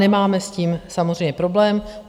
Nemáme s tím samozřejmě problém.